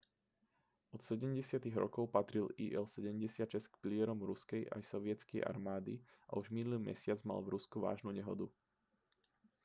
od 70. rokov patril il-76 k pilierom ruskej aj sovietskej armády a už minulý mesiac mal v rusku vážnu nehodu